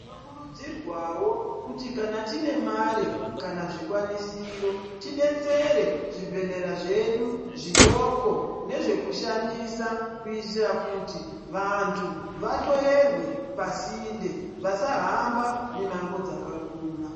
Tinokurudzirwawo kuti kana time Mari kana zvikwanisiro tidetsere zvebhehlera zvedu zvidoko nezvekushandisa kuti vantu bahloyerwa pasinde vasahamba mimango dzakakura.